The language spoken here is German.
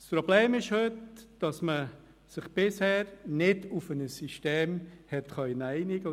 Das Problem heute ist, dass man sich bisher nicht auf ein System einigen konnte.